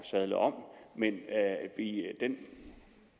sadle om men den